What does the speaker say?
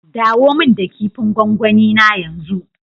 Dawo min da kipin gwangwani na yanzu.